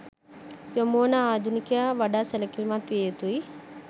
යොමුවන ආධුනිකයා වඩා සැලකිලිමත් විය යුතුයි.